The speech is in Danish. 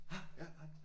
Hej ja hej